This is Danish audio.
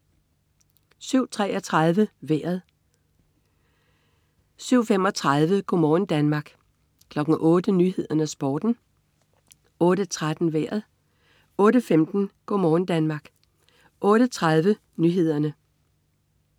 07.33 Vejret (man-fre) 07.35 Go' morgen Danmark (man-fre) 08.00 Nyhederne og Sporten (man-fre) 08.13 Vejret (man-fre) 08.15 Go' morgen Danmark (man-fre) 08.30 Nyhederne (man-fre)